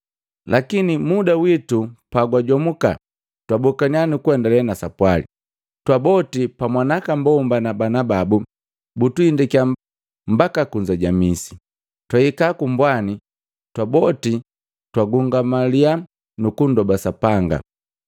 Lakini muda witu pagwajomuka twabokaniya nukuendale na sapwali, twaboti pamwa na aka mbomba na bana babu butuhindakiya mbaka kunza ja misi. Twahika kumbwani, twaboti twagungamaliya nukundoba Sapanga.